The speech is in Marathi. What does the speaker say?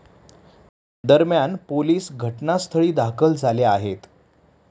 दरम्यान, पोलीस घटनास्थळी दाखल झाले आहेत.